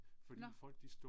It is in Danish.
Nåh